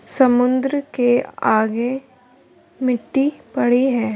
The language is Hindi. समुंद्र के आगे मिट्टी पड़ी है।